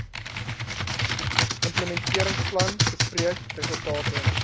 implementeringsplan bespreek resultate